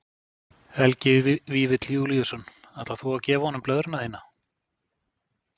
Helgi Vífill Júlíusson: Ætlar þú að gefa honum blöðruna þína?